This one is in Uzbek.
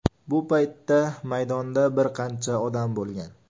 Bu paytda maydonda bir qancha odam bo‘lgan.